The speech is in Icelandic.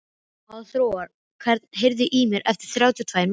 Hafþóra, heyrðu í mér eftir þrjátíu og tvær mínútur.